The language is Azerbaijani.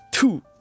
Tü!